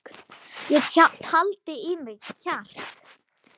Ég taldi í mig kjark.